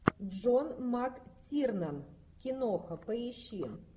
джон мактирнан киноха поищи